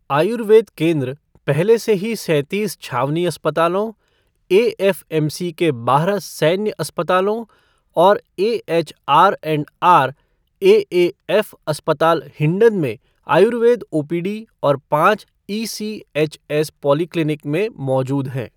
आयुर्वेद केन्द्र पहले से ही सैंतीस छावनी अस्पतालों, एएफ़एमसी के बारह सैन्य अस्पतालों और AH R and R, AF अस्पताल हिंडन में आयुर्वेद ओपीडी और पांच ईसीएचएस पॉलीक्लिनिक में मौजूद हैं।